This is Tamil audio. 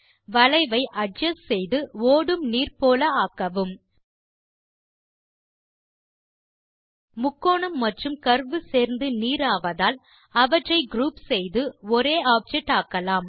வளைவை அட்ஜஸ்ட் செய்து ஓடும் நீர் போல ஆக்கவும் முக்கோணம் மற்றும் கர்வ் சேர்ந்து நீர் ஆவதால் அவற்றை குரூப் செய்து ஒரே ஆப்ஜெக்ட் ஆக்கலாம்